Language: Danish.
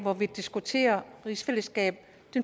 at vi diskuterer rigsfællesskab